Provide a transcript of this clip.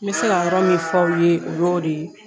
N bɛ se ka yɔrɔ min f'aw ye o yo de ye.